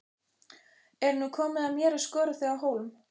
Er nú komið að mér að skora þig á hólm?